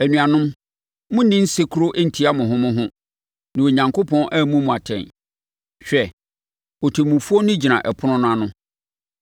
Anuanom, monnni nsekuro ntia mo ho mo ho, na Onyankopɔn ammu mo atɛn. Hwɛ, Ɔtemmufoɔ no gyina ɛpono no ano.